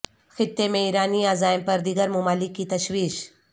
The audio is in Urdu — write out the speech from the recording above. خطے میں ایرانی عزائم پر دیگر ممالک کی تشویش